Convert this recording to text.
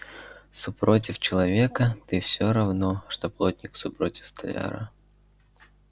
супротив человека ты всё равно что плотник супротив столяра